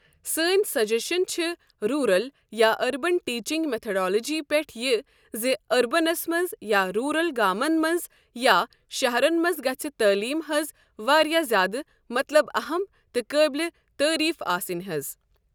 سٲنۍ سجشن چھِ روٗرَل یا أربن ٹیٖچنٛگ میتھڈالجی پٮ۪تھ یہِ زِ أربنس منٛز یا روٗرَل گامن منٛز یا شہرن منٛز گژھِ تعلیٖم حظ واریاہ زیادٕ مطلب اہم تہٕ قٲبل تعریٖف آسٕنۍ حظ ۔